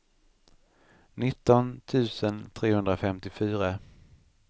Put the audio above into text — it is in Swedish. nitton tusen trehundrafemtiofyra